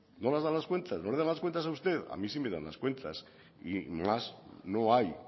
no le dan las cuentas a usted a mí sí me dan las cuentas y más no hay